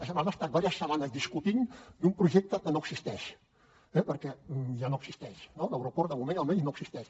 ja hem estat diverses setmanes discutint d’un projecte que no existeix perquè ja no existeix no l’aeroport de moment almenys no existeix